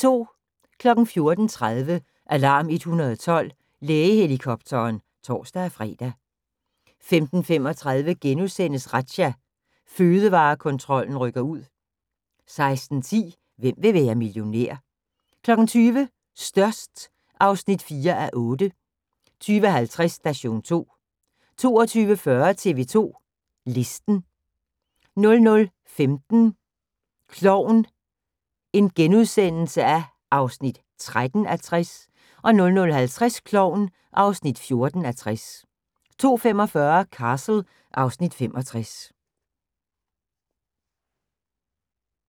14:30: Alarm 112 – Lægehelikopteren (tor-fre) 15:35: Razzia – Fødevarekontrollen rykker ud * 16:10: Hvem vil være millionær? 20:00: Størst (4:8) 20:50: Station 2 22:40: TV 2 Listen 00:15: Klovn (13:60)* 00:50: Klovn (14:60) 02:45: Castle (Afs. 65)